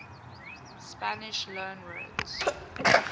spanish loanwords